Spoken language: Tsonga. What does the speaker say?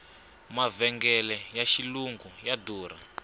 mavhengele ya xilungu ya durha